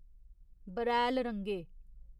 बरैल रंगे